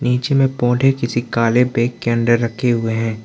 नीचे में पौधे किसी काले बैग के अंदर रखे हुए हैं।